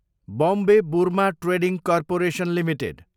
Bombay Burma trading corporation Ltd